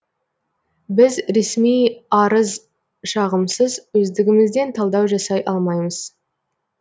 біз ресми арыз шағымсыз өздігімізден талдау жасай алмаймыз